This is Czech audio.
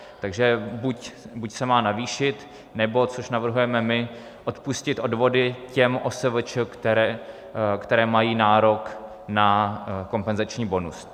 Takže buď se má navýšit, nebo, což navrhujeme my, odpustit odvody těm OSVČ, které mají nárok na kompenzační bonus.